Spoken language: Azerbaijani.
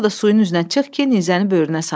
Sonra da suyun üzünə çıx ki, nizəni böyrünə sancım.